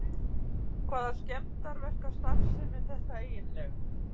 HVAÐA SKEMMDARSTARFSEMI ER ÞETTA EIGINLEGA!